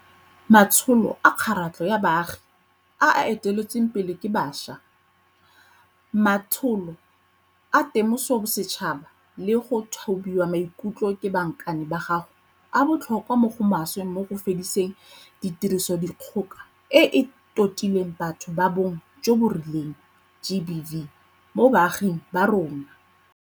Matsholo a kgaratlho ya baagi a a eteletsweng pele ke bašwa, matsholo a temososetšhaba le a go thobiwa maikutlo ke bankane ba gago a botlhokwa mo go maswe mo go fediseng tirisodikgoka e e totileng batho ba bong jo bo rileng, GBV, mo baaging ba rona.